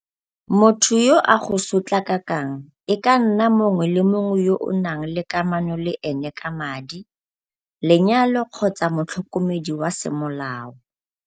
Motho yo a go sotlakakang e ka nna mongwe le mongwe yo o nang le kamano le ene ka madi, lenyalo kgotsa tse otlhokomedi ya semolao.